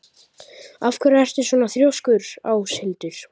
Af hverju ertu svona þrjóskur, Áshildur?